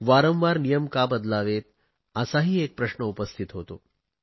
वारंवार नियम का बदलावेत असाही एक प्रश्न उपस्थित होतो